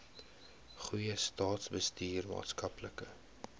goeie staatsbestuur maatskaplike